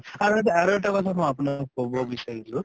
আৰু এটা আৰু এটা কথা মই আপোনাক কʼব বিচাৰিছো